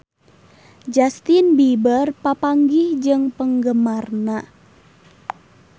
Justin Beiber papanggih jeung penggemarna